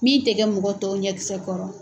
Min tɛ kɛ mɔgɔ tɔw ɲɛkisɛ kɔrɔ.